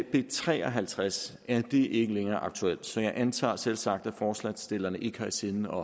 b tre og halvtreds er det ikke længere aktuelt så jeg antager selvsagt at forslagsstillerne ikke har i sinde